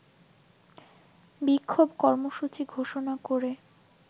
বিক্ষোভ কর্মসূচি ঘোষণা করে